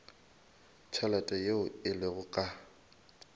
tšhelete yeo e lego ka